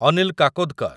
Anil Kakodkar